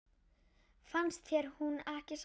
Finnst þér hún ekki sæt?